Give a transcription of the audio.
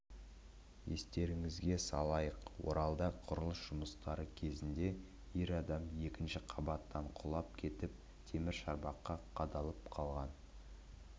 естеріңізге салайық оралда құрылыс жұмыстары кезінде ер адам екінші қабаттан құлап кетіп темір шарбаққа қадалып қалған